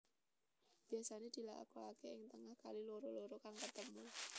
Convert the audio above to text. Biasané dilakokaké ing tengah kali loro loro kang ketemu